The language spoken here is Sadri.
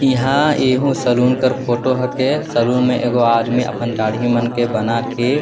इहा सैलून फोटो कर के रखे है सैलून में एक गो अपना दाढ़ी मन के बनत थे।